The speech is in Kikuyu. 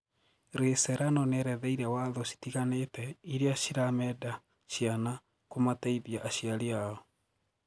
Ray Serrano nieretheire watho citiganite iria cirameenda ciana kũmateithia aciari ao.